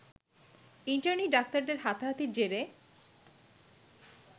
internee ডাক্তারদের হাতাহাতির জেরে